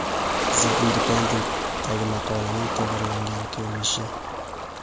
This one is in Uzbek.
The Independent’dagi maqolaning to‘g‘rilangan ko‘rinishi.